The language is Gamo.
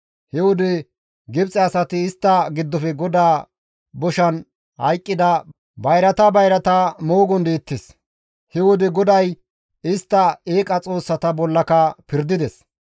He wode Gibxe asay istta giddofe GODAA boshan hayqqida bayrata bayrata moogon deettes; he wode GODAY istta eeqa xoossata bollaka pirdides.